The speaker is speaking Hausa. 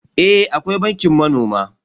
Eh akwai bankin manoma.